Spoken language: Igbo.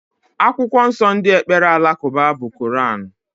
Akwụkwọ nsó ndị ekpere alakụba bụ Kọranú.